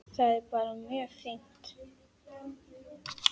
Það er bara mjög fínt.